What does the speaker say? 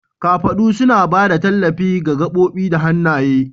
Kafaɗu suna ba da tallafi ga gaɓoɓi da hannaye.